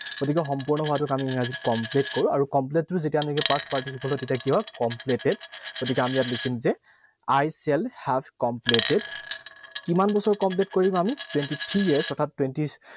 গতিকে সম্পূৰ্ণ হোৱাটোক আমি ইংৰাজীত complete কওঁ, আৰু complete টোৰ যেতিয়া নেকি past participle হয়, তেতিয়া কি হব? Completed, গতিকে আমি ইয়াত লিখিম যে I shall have completed, কিমান বছৰ complete কৰিম আমি? Twenty three years অৰ্থাৎ